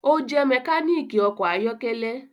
O jẹ mekaniki ọkọ ayọkẹlẹ